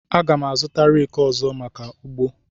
Aga m azụta reki ọzọ maka ugbo.